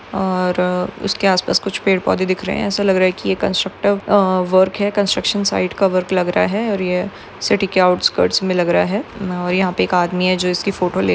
और उसके आसपास पैड पौधे दिख रहे है। एसा लग रहा है। कंस्ट्र कंस्ट्रक्ट वर्क है। कंस्ट्रक्शन की साइड का वर्क लग रहा है। और यह सिटी के आउटस कटस मे लग रहा है। यहा एक आदमी जो इसकी फोटो ले--